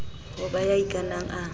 ho ba ya ikanang a